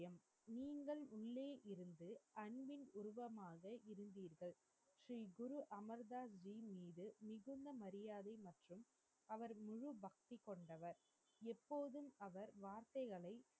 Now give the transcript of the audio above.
நீங்கள் உள்ளே இருந்து அன்பின் உருவமாக இருந்தீர்கள் ஸ்ரீ குருஅமீர்தாஜி இன் மீது மிகுந்த மரியாதை மற்றும் அவர் மீது பக்தி கொண்டவர் எப்போதும் அவர் வார்த்தைகளை